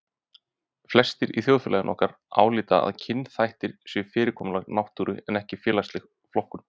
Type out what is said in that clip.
Flestir í þjóðfélagi okkar álíta að kynþættir séu fyrirkomulag náttúru en ekki félagsleg flokkun.